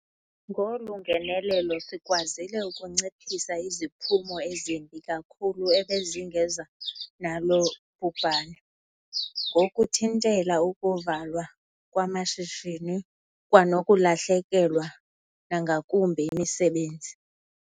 Ngolu ngenelelo sikwazile ukunciphisa iziphumo ezimbi kakhulu ebezingeza nalo bhubhane, ngokuthintela ukuvalwa kwamashishini kwanokulahlekelwa nangakumbi yimisebenzi.